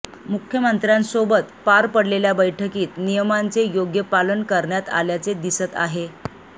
मुख्यमंत्र्यांसोबत पार पडलेल्या बैठकीत नियमांचे योग्य पालन करण्यात आल्याचे दिसत आहे